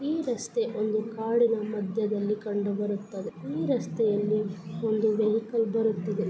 ಈ ರಸ್ತೆ ಒಂದು ಕಾಡಿನ ಮಧ್ಯದಲ್ಲಿ ಕಂಡುಬರುತ್ತದೆ ಈ ರಸ್ತೆಯಲ್ಲಿ ಒಂದು ವೆಹಿಕಲ್ ಬರುತ್ತಿದೆ.